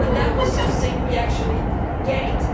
That was something we actually gained.